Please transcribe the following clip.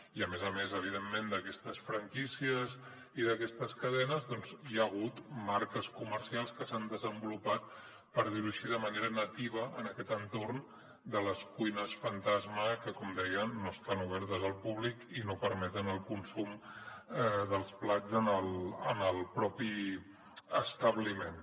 i a més a més evidentment d’aquestes franquícies i d’aquestes cadenes doncs hi ha hagut marques comercials que s’han desenvolupat per dir ho així de manera nativa en aquest entorn de les cuines fantasma que com dèiem no estan obertes al públic i no permeten el consum dels plats en el propi establiment